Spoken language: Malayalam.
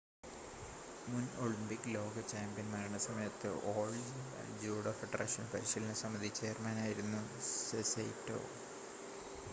മുൻ ഒളിമ്പിക് ലോക ചാമ്പ്യൻ മരണസമയത്ത് ഓൾ ജപ്പാൻ ജൂഡോ ഫെഡറേഷൻ പരിശീലന സമിതി ചെയർമാനായിരുന്നു സൈറ്റോ